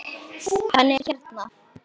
Hann er hérna.